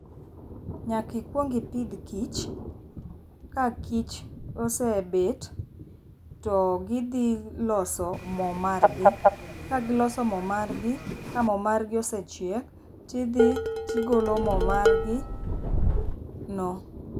Nyaki kuong idhi gi kich ka kich osebet, to gidhi loso moo margi kagiloso moo margi ka moo margi osechiek tidhi tigolo moo margi no.